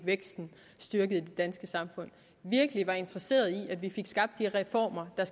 væksten styrket i det danske samfund og virkelig var interesseret i at vi skabt de reformer der